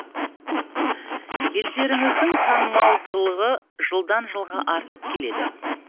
елдеріңіздің танымалдылығы жылдан жылға артып келеді